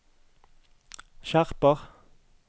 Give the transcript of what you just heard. skjerper